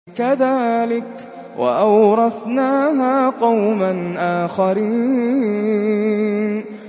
كَذَٰلِكَ ۖ وَأَوْرَثْنَاهَا قَوْمًا آخَرِينَ